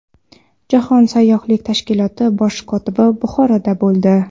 Jahon sayyohlik tashkiloti bosh kotibi Buxoroda bo‘ldi.